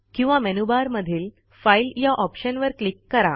किंवा मेनूबारमधील फाईल या ऑप्शनवर क्लिक करा